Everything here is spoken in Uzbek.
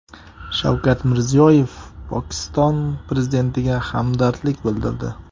Shavkat Mirziyoyev Pokiston prezidentiga hamdardlik bildirdi.